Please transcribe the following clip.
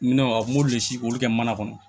Minɛnw a m'olu le si olu kɛ mana kɔnɔ